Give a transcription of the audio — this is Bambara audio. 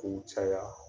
K'u caya